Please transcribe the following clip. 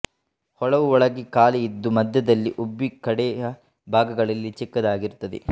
ಹೊಳವು ಒಳಗೆ ಖಾಲಿ ಇದ್ದು ಮಧ್ಯದಲ್ಲಿ ಉಬ್ಬಿ ಕಡೆಯ ಭಾಗಗಳಲ್ಲಿ ಚಿಕ್ಕದಾಗಿರುತ್ತದೆ